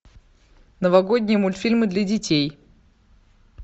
новогодние мультфильмы для детей